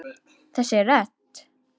Þessi rödd!